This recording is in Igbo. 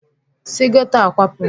Si geto a kwapụ!